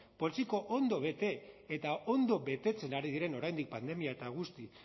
poltsiko ondo bete eta ondo betetzen ari diren oraindik pandemia eta guzti